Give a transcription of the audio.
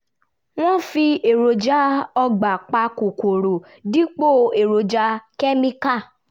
wọ́n fi èròjà ọgbà pa kòkòrò dípò èròjà kẹ́míkà